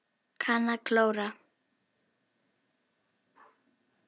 Kann að klóra.